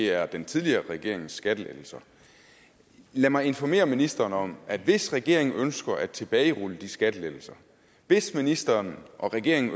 er den tidligere regerings skattelettelser lad mig informere ministeren om at hvis regeringen ønsker at tilbagerulle de skattelettelser hvis ministeren og regeringen